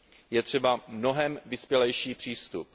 Je třeba mnohem vyspělejší přístup.